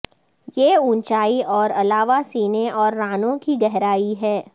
یہ اونچائی اور علاوہ سینے اور رانوں کی گہرائی ہے